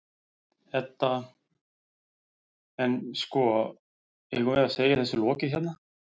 Edda: En, sko, eigum við að segja þessu lokið hérna?